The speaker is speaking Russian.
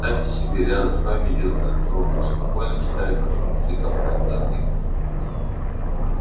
представьте себе рядом с вами идёт этот робот спокойно читает ваши мысли и копается в них